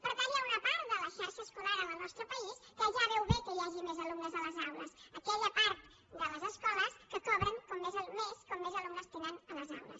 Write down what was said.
per tant hi ha una part de la xarxa escolar en el nostre país que ja veu bé que hi hagi més alumnes a les aules aquella part de les escoles que cobren més com més alumnes tenen a les aules